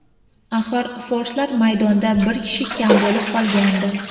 Axir, forslar maydonda bir kishi kam bo‘lib qolgandi.